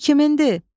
Bu kimindir?